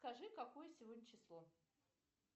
скажи какое сегодня число